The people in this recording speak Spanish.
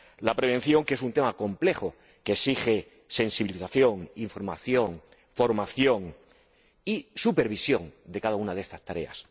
La prevención, que es un tema complejo, exige sensibilización, información, formación y supervisión en relación con cada una de estas tareas.